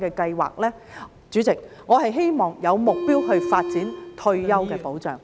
代理主席，我希望有目標地發展退休的保障。